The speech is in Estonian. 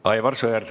Aivar Sõerd.